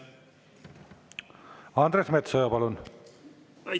Andres Metsoja, palun!